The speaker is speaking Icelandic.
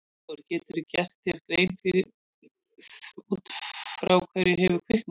Hafþór: Geturðu gert þér grein fyrir út frá hverju hefur kviknað?